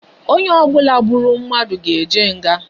Onye obula gburu mmadu ga eje nga